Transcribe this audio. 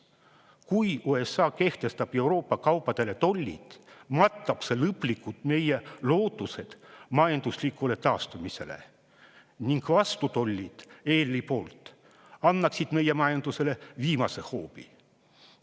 Kui USA kehtestab Euroopa kaupadele tollid, matab see lõplikult meie lootused majanduslikule taastumisele ning vastutollid EL-i poolt annaksid meie majandusele viimase hoobi.